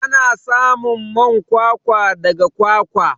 Ana samun man kwakwa daga kwakwa.